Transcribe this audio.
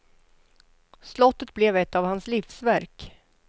Slottet blev ett av hans livsverk.